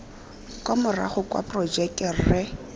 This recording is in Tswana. kwa morago kwa porojekeng rre